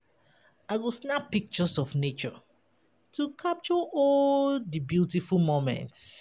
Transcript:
I go snap pictures of nature to capture all di beautiful moments.